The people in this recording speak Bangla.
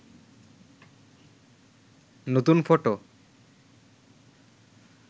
নতুন ফটো